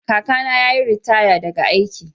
Kakana ya yi ritaya daga aiki.